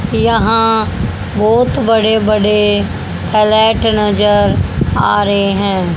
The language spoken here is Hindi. यहां बहोत बड़े बड़े फ्लैट नजर आ रहे हैं।